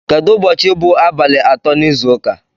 Kedụ ụbọchị bụ abalị atọ n'izu ụka?